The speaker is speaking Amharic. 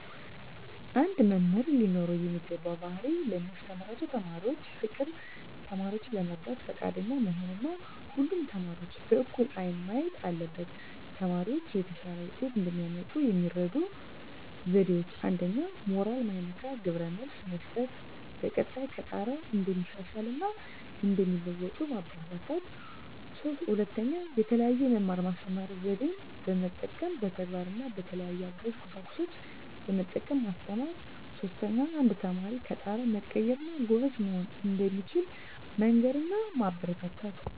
አንድ መምህር ሊኖረው የሚገባው ባህሪ ለሚያስተምራቸው ተማሪዎች ፍቅር፣ ተማሪዎችን ለመርዳት ፈቃደኛ መሆን እና ሁሉንም ተማሪዎች በእኩል አይን ማየት አለበት። ተማሪዎች የተሻለ ውጤት እንዲያመጡ የሚረዱ ዜዴዎች 1ኛ. ሞራል ማይነካ ግብረ መልስ መስጠት፣ በቀጣይ ከጣረ እንደሚሻሻል እና እንደሚለዎጡ ማበራታታት። 2ኛ. የተለየ የመማር ማስተማር ዜዴን መጠቀም፣ በተግባር እና በተለያዩ አጋዥ ቁሳቁሶችን በመጠቀም ማስተማር። 3ኛ. አንድ ተማሪ ከጣረ መቀየር እና ጎበዝ መሆን እንደሚችል መንገር እና ማበረታታት።